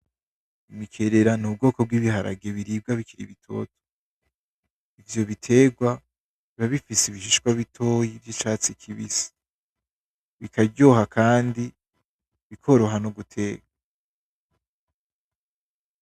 Ibikerera nubwoko bwibiharage biribwa bikiri bitoto. Ivyo biterwa biba bifise ibishishwa bitoyi bicatsi kibisi, bikaryoha kandi bikoroha noguteka.